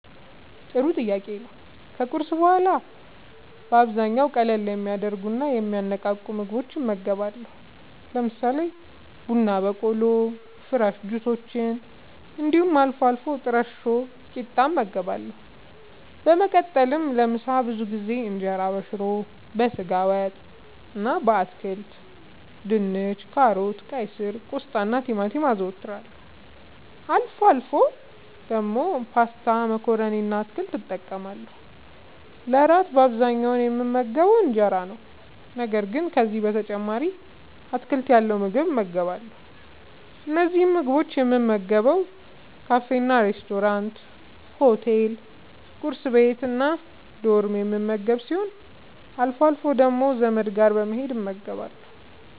ጥሩ ጥያቄ ነዉ ከቁርስ በኋላ በአብዛኛዉ ቀለል የሚያደርጉና የሚያነቃቁ ምግቦችን እመገባለሁ። ለምሳሌ፦ ቡና በቆሎ፣ ፍረሽ ጁሶች እንዲሁም አልፎ አልፎ ጥረሾ ቂጣ እመገባለሁ። በመቀጠልም ለምሳ ብዙ ጊዜ እንጀራበሽሮ፣ በስጋ ወጥ እና በአትክልት( ድንች፣ ካሮት፣ ቀይስር፣ ቆስጣናቲማቲም) አዘወትራለሁ። አልፎ አልፎ ደግሞ ፓስታ መኮረኒ እና አትክልት እጠቀማለሁ። ለእራት በአብዛኛዉ የምመገበዉ እንጀራ ነዉ። ነገር ግን ከዚህም በተጨማሪ አትክልት ያለዉ ምግብ እመገባለሁ። እነዚህን ምግቦች የምመገበዉ ካፌናሬስቶራንት፣ ሆቴል፣ ቁርስ ቤት፣ እና ዶርም የምመገብ ሲሆን አልፎ አልፎ ደግሞ ዘመድ ጋር በመሄድ እመገባለሁ።